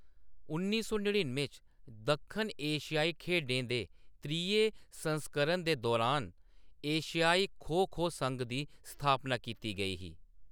नड़िन्नुएं च, दक्खन एशियाई खेढें दे त्रीये संस्करण दे दौरान एशियाई खो-खो संघ दी स्थापना कीती गेई ही।